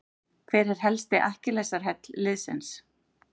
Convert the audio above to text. Hver er helsti akkilesarhæll liðsins?